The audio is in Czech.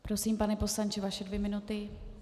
Prosím, pane poslanče, vaše dvě minuty.